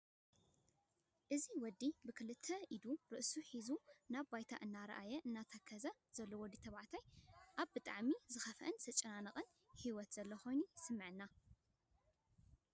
እዚ ወዲ ብክልተ ኢዱ ርእሱ ሒዙ ናብ ባይታ እናረኣየ እናተከዘን ዘሎ ወዲ ተበቫዕታይ ኣብ ብጣዕሚ ዝከፍአን ዝተጨናነቀን ሀይወት ዘሎ ኮይኑ ይስመዐና፡፡